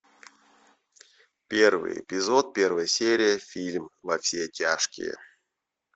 первый эпизод первая серия фильм во все тяжкие